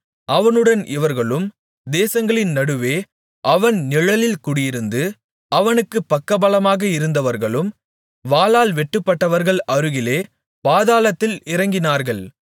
அவனுடன் இவர்களும் தேசங்களின் நடுவே அவன் நிழலில் குடியிருந்து அவனுக்குப் பக்கபலமாக இருந்தவர்களும் வாளால் வெட்டுப்பட்டவர்கள் அருகிலே பாதாளத்தில் இறங்கினார்கள்